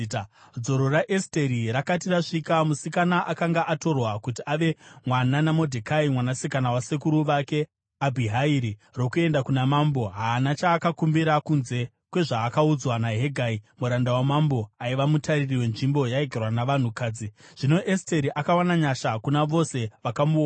Dzoro raEsteri rakati rasvika (musikana akanga atorwa kuti ave mwana naModhekai, mwanasikana wasekuru vake Abhihairi) rokuenda kuna Mambo, haana chaakakumbira kunze kwezvaakaudzwa naHegai, muranda wamambo aiva mutariri wenzvimbo yaigarwa navanhukadzi. Zvino Esteri akawana nyasha kuna vose vakamuona.